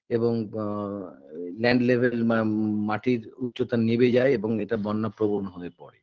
এবং আ land level মা মাটির উচ্চতা নেবে যায় এবং এটা বন্যাপ্রবণ হয়ে পড়ে